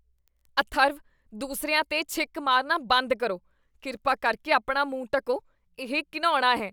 ਅਥਰਵ ਦੂਸਰਿਆਂ 'ਤੇ ਛਿੱਕ ਮਾਰਨਾ ਬੰਦ ਕਰੋ। ਕਿਰਪਾ ਕਰਕੇ ਆਪਣਾ ਮੂੰਹ ਢੱਕੋ। ਇਹ ਘਿਣਾਉਣੀ ਹੈ।